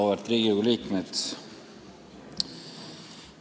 Auväärt Riigikogu liikmed!